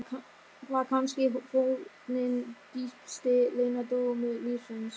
Var kannski fórnin dýpsti leyndardómur lífsins?